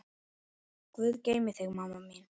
Guð geymi þig, mamma mín.